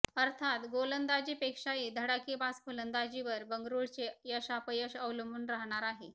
अर्थात गोलंदाजीपेक्षाही धडाकेबाज फलंदाजीवर बंगळुरूचे यशापयश अवलंबून राहणार आहे